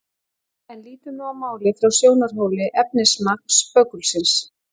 En lítum nú á málið frá sjónarhóli efnismagns böggulsins.